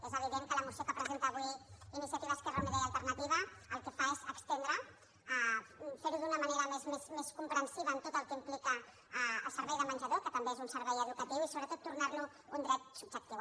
és evident que la moció que presenta avui iniciativa · esquerra unida i alternativa el que fa és estendre fer·ho d’una manera més comprensiva en tot el que im·plica el servei de menjador que també és un servei educatiu i sobretot tornar·lo un dret subjectiu